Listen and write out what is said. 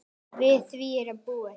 Við því er að búast.